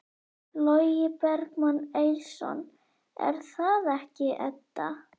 Logi Bergmann Eiðsson: Er það ekki, Edda?